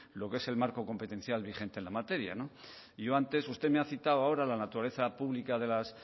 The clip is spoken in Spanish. lo que es el marco competencial vigente en la materia y yo antes usted me ha citado la naturaleza pública de las